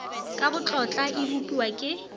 ka botlotla e bopiwa ke